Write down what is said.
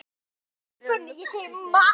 fóru fram fyrir luktum dyrum.